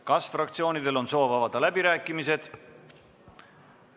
Kas fraktsioonidel on soovi avada läbirääkimisi?